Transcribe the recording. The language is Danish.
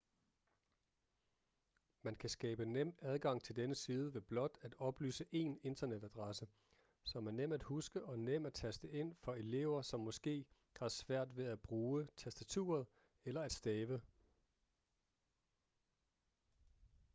man kan skabe nem adgang til denne side ved blot at oplyse én internetadresse som er nem at huske og nem at taste ind for elever som måske har svært ved at bruge tastaturet eller at stave